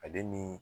Ale ni